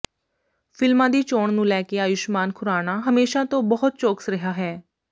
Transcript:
ਫਿਲਮਾਂ ਦੀ ਚੋਣ ਨੂੰ ਲੈ ਕੇ ਆਯੁਸ਼ਮਾਨ ਖੁਰਾਣਾ ਹਮੇਸ਼ਾ ਤੋਂ ਬਹੁਤ ਚੌਕਸ ਰਿਹਾ ਹੈ